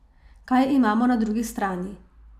Kaj imamo na drugi strani?